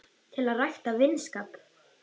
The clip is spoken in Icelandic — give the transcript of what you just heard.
til að rækta vinskap